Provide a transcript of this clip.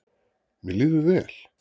Mér líður vel.